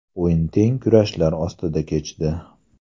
O‘yin teng kurashlar ostida kechdi .